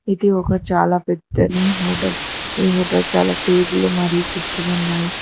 ఇది ఒక చాలా పెద్దది హోటల్ ఈ హోటల్ చాలా టేబులు మరియు కుర్చీలు ఉన్నాయి.